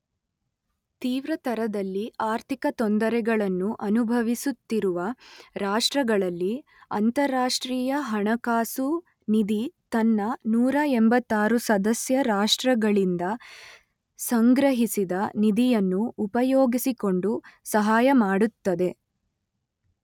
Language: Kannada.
ತೀವ್ರತರದಲ್ಲಿ ಆರ್ಥಿಕ ತೊಂದರೆಗಳನ್ನು ಅನುಭವಿಸುತ್ತಿರುವ ರಾಷ್ಟ್ರಗಳಲ್ಲಿ, ಅಂತರರಾಷ್ಟ್ರೀಯ ಹಣಕಾಸು ನಿಧಿ ತನ್ನ ನೂರ ಎಂಬತ್ತಾರು ಸದಸ್ಯ ರಾಷ್ಟ್ರಗಳಿಂದ ಸಂಗ್ರಹಿಸಿದ ನಿಧಿಯನ್ನು ಉಪಯೋಗಿಸಿಕೊಂಡು ಸಹಾಯ ಮಾಡುತ್ತದೆ